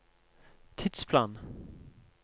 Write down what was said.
tidsplan